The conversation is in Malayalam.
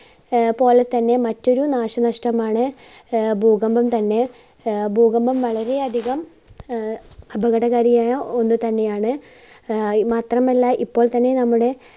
ആഹ് പോലെ തന്നെ മറ്റൊരു നാശനഷ്ടമാണ് ആഹ് ഭൂകമ്പം തന്നെ ആഹ് ഭൂകമ്പം വളരെ അധികം ആഹ് അപകടകാരിയായ ഒന്ന് തന്നെയാണ്. ആഹ് മാത്രമല്ല ഇപ്പോൾ തന്നെ നമ്മുടെ